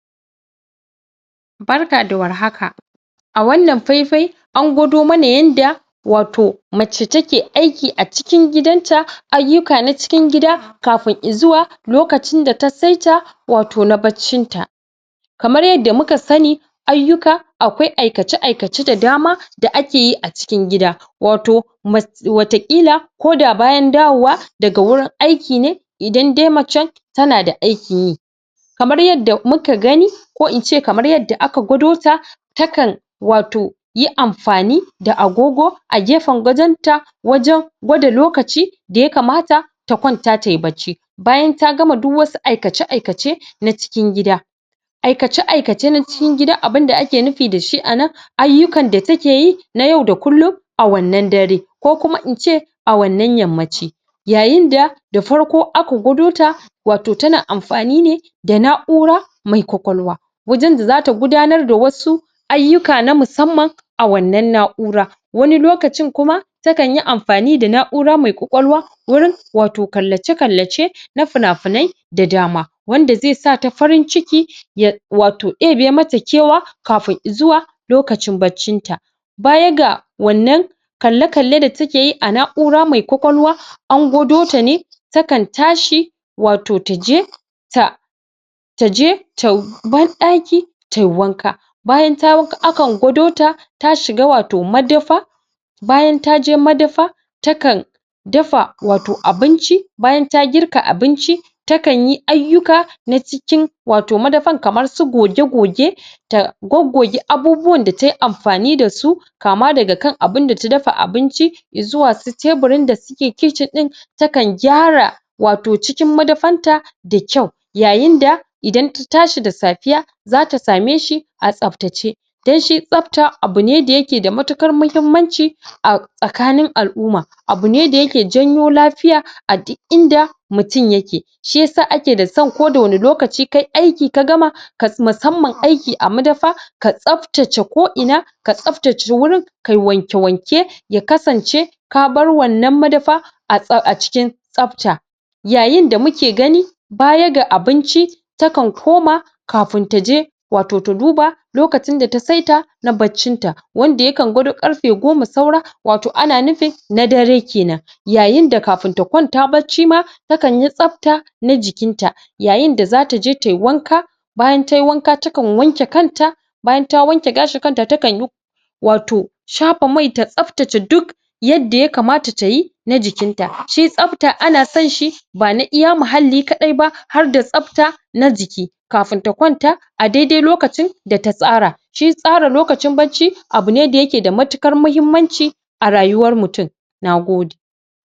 Barka da warhaka, a wannan faifai an gwado mana yanda wato mace take aiki a cikin gidanta ayyuka na cikin gidan kafin izuwa lokacin da ta saita wato na baccin ta. Kamar yadda muka sani ayyuka akwai aikace-aikace da dama da akeyi a cikin gida, wato ma wataƙila koda bayan dawowa daga wurin aiki ne idan dai macen tana da aikinyi kamar yadda muka gani ko in ce kamar yadda aka gwadota ta kan wato yi amfani da agogo a gefen gadon ta wajen gwada lokacin da ya kamata ta kwanata tayi bacci. bayan ta gama duk wasu aikace-aikace na cikin gida. Aikace-aikace na cikin gida abinda ake nufi dashi a nan ayyukan da takeyi na yau da kullum a wannan dare. Ko kuma ince a wannan yammaci Yayinda da farko aka gwadota tana amfani ne wato da na'ura mai kwakwalwa wajen da zata gudanar da wasu ayyuka na musamman a wannan na'ura wani lokacin kuma takanyi amfani da na'ura mai kwakwalwa wurin wato kallace-kallace na finafinai da dama wanda zai sata farinci, ya wato ɗebe mata kewa kafin izuwa, lokacin baccin ta. baya ga wannan kalle-kalle da takeyi a na'ura mai kwakwalwa an gwadota ne takan tashi wato taje ta taje ta banɗaki tayi wanka bayan tayi wanka akan gwadota ta shiga wato madafa bayan taje madafa ta kan dafa wato abinci. Bayan ta girka abinci ta kanyi ayyuka na cikin wato madafan kamar su goge-goge ta goggoge abubuwan da tayi amfani dasu kama daga kan abinda ta dafa abincin izuwa su teburin da suke kicin ɗin takan gyara wato cikin madafanta da kyau Yayinda idan ta tashi da safiya zata sameshi a tsaftace. Don shi tsafta abu ne da yake da matuƙar muhimmanci ahh a tsakanin al'umma abu ne da yake janyo lafiya a duk inda mutum yake. Shiyasa akeda son koda wani lokaci kayi aiki ka gama ka.. musamman aiki a madafa ka tsaftace ko ina ka tsaftace wurin kai wanke-wanke ya kasance ka bar wannan madafa a tsaf.. a cikin tsafta Yayinda muke gani baya ga abinci, takan koma kafin taje wato ta duba lokacin da ta saita na baccin ta. Wanda yakan gwado ƙarfe goma saura wato ana nufin na dare kenan. Yayinda kafin ta kwanta bacci ma takanyi tsafta na jikinta yayinda zataje tayi wanka bayan tayi wanka tana wanke kanta bayan ta wanke gashin kanta takanyi wato shafa mai ta tsaftace duk yadda ya kamata tayi na jikinta. Shi tsafta ana sonshi ba na iya muhalli kaɗai ba harda tsafta na jiki. kafin ta kwanta a dai dai lokacin da ta tsara shi tsara lokacin bacci abu ne da yake da matuƙar muhimmanci a rayuwar mutum, na gode.